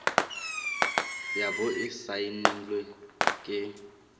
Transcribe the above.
ya bo e saenilwe ke